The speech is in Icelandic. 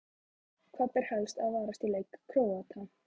Hvað ber helst að varast í leik Króata?